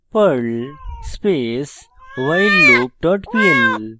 perl space whileloop dot pl